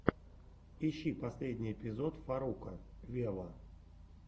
ищи последний эпизод фарруко вево